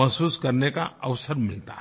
महसूस करने का अवसर मिलता है